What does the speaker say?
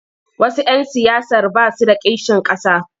Wasu 'yan siyasar ba su da kishin ƙasa.